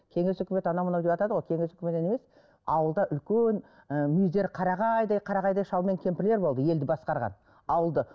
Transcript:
кеңес үкімет анау мынау деватады ғой кеңес үкіметінен емес ауылда үлкен ы мүйіздері қарағайдай қарағайдай шал мен кемпірлер болды елді басқарған ауылды